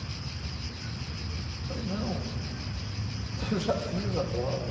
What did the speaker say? Falei, não, eu já fiz a prova.